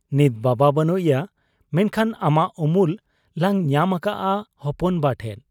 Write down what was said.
ᱱᱤᱛ ᱵᱟᱵᱟ ᱵᱟᱹᱱᱩᱜ ᱮᱭᱟ ᱾ ᱢᱮᱱᱠᱷᱟᱱ ᱟᱢᱟᱜ ᱩᱢᱩᱞ ᱞᱟᱝ ᱧᱟᱢ ᱟᱠᱟᱜ ᱟ ᱦᱚᱯᱚᱱ ᱵᱟ ᱴᱷᱮᱫ ᱾